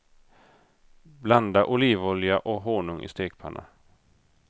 Blanda olivolja och honung i stekpanna.